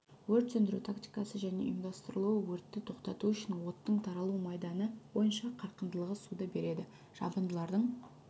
өрт сөндіру тактикасы және ұйымдастырылуы өртті тоқтату үшін оттың таралу майданы бойынша қарқындылығы суды береді жабындылардың